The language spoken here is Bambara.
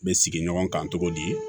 N bɛ sigi ɲɔgɔn kan cogo di